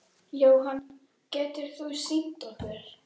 Jóhann: Getur þú sýnt okkur?